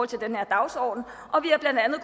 til den her dagsorden og vi